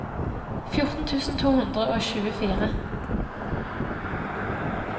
fjorten tusen to hundre og tjuefire